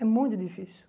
É muito difícil.